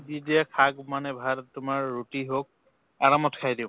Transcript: দি দিয়ে শাক মানে ভাল তোমাৰ ৰুতি হৌক আৰামত খাই দিওঁ